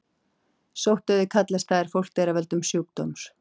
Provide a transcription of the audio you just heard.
Sóttdauði kallast það er fólk deyr af völdum sjúkdóms.